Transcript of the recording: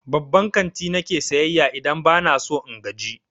Babban kanti na ke sayayya idan ba na son in gaji.